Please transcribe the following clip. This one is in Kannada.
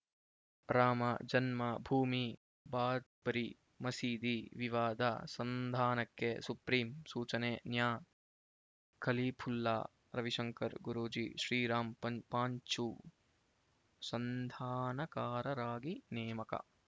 ರಾಮಜನ್ಮ ಭೂಮಿ ಬಾಬರಿ ಮಸೀದಿ ವಿವಾದ ಸಂಧಾನಕ್ಕೆ ಸುಪ್ರೀಂ ಸೂಚನೆ ನ್ಯಾ ಖಲೀಫುಲ್ಲಾ ರವಿಶಂಕರ್ ಗುರೂಜಿ ಶ್ರೀರಾಮ್ ಪಾಂಚು ಸಂಧಾನಕಾರರಾಗಿ ನೇಮಕ